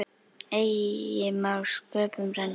Eigi má sköpum renna.